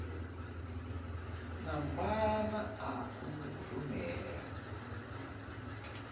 na maana a u rumela